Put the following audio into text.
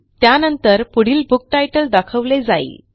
त्यानंतर पुढील book title दाखवले जाईल